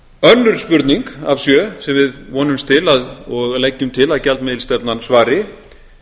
önnur spurning af sjö sem við vonumst til og leggjum til að gjaldmiðilsstefnan svari